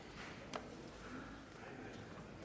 der